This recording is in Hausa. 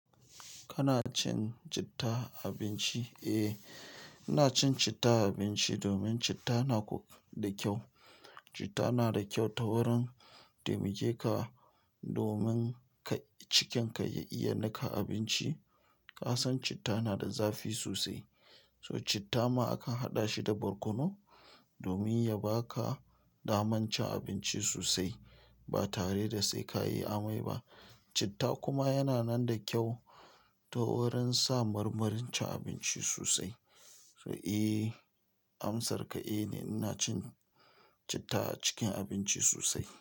Kana cin citta a abinci? Eh, ina cin citta a abinci domin citta na ƙo da kyau. Citta na da kyau ta wurin taimake ka domin kai cikin ka ya iya nika abinci. Ka san citta na da zafi sosai, so citta ma akan haɗa shi da barkono domin ya ba ka damar cin abinci sosai ba tare da sai ka yi amai ba. Citta kuma yana nan da kyau ta wurin sa marmarin cin abinci sosai. So eh, amsar ka eh ne. Ina cin citta a cikin abinci sosai.